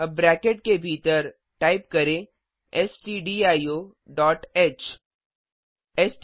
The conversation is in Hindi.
अब ब्रैकेट के भीतरटाइप करें स्टडियो डॉट